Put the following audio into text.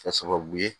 Kɛ sababu ye